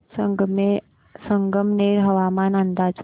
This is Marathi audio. संगमनेर हवामान अंदाज